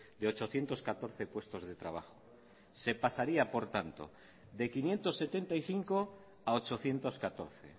de ochocientos catorce puestos de trabajo se pasaría por tanto de quinientos setenta y cinco a ochocientos catorce